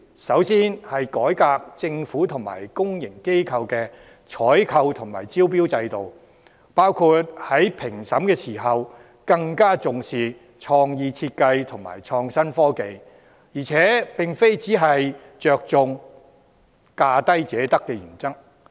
首先，改革政府及公營機構的採購及招標制度，包括在評審時更重視創意設計和創新技術、並非只着重價低者得原則。